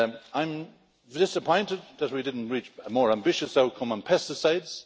I'm disappointed that we didn't reach a more ambitious outcome on pesticides.